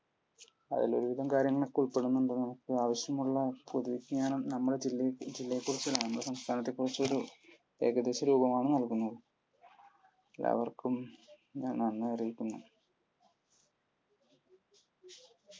അതിൽ ഒരുവിധം കാര്യങ്ങൾ ഒക്കെ ഉൾപ്പെടുന്നുണ്ടെന്നുള്ളതാണ് ആവശ്യമുള്ള പൊതുവിജ്ഞാനം നമ്മുടെ ജില്ലയെക്കുറിച്ചു നമ്മുടെ സംസ്ഥാനത്തെക്കുറിച്ചൊരു ഏകദേശ രൂപമാണ് നൽകുന്നത്. എല്ലാവര്ക്കും ഞാൻ നന്ദി അറിയിക്കുന്നു.